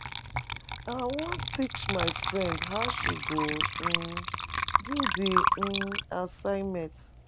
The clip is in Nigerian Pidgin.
I wan teach my friend how she go um do di um assignment.